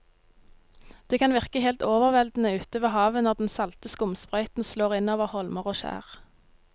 Det kan virke helt overveldende ute ved havet når den salte skumsprøyten slår innover holmer og skjær.